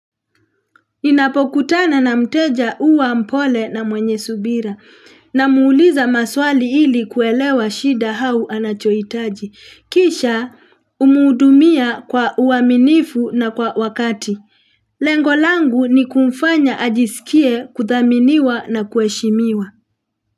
Ninapokutana na mteja uwa mpole na mwenye subira namuuliza maswali ili kuelewa shida hau anachoitaji. Kisha umudumia kwa uaminifu na kwa wakati. Lengo langu ni kumfanya ajisikie kuthaminiwa na kuheshimiwa.